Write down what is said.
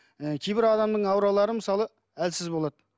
ы кейбір адамның ауралары мысалы әлсіз болады